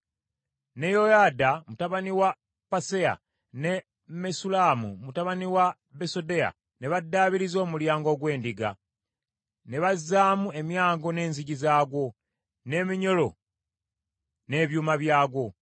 Ne Yoyada mutabani wa Paseya ne Mesullamu mutabani wa Besodeya ne baddaabiriza Omulyango ogw’Edda, ne bazaamu emyango n’enzigi zaagwo, n’eminyolo n’ebyuma byagwo.